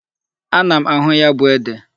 Ana m ahụ ya bụ ede.